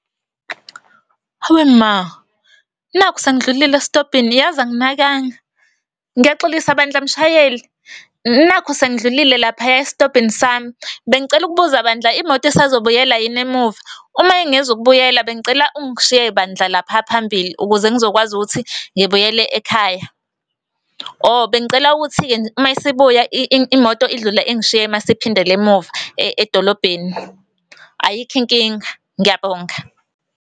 Hawe ma! Nakhu sengidlulile esitobhini, yazi anginakanga. Ngiyaxolisa bandla mshayeli, nakhu sengidlulile laphaya esitobhini sami. Bengicela ukubuza bandla imoto isazobuyela yini emuva? Uma ingezukubuyela, bengicela ungishiye bandla lapha phambili ukuze ngizokwazi ukuthi ngibuyele ekhaya. Oh, bengicela ukuthi-ke mayisibuya imoto idlule ingishiye masiphindela emuva edolobheni. Ayikho inkinga, ngiyabonga.